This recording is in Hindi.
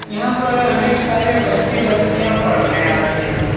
यहाँ पर अनेक सारे बच्चे बच्चियां पढ़ने आते है।